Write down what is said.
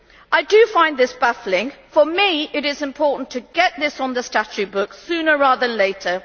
I do find this baffling. For me it is important to get this on the statute books sooner rather than later.